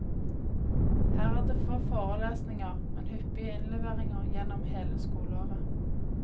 Her er det få forelesninger, men hyppige innleveringer gjennom hele skoleåret.